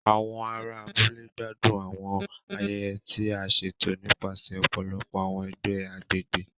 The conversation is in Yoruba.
Àwọn ará abúlé gbádùn àwọn ayẹyẹ ti a ṣeto nipasẹ ọpọlọpọ awọn ẹgbẹ agbègbè.